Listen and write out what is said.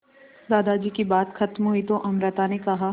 दादाजी की बात खत्म हुई तो अमृता ने कहा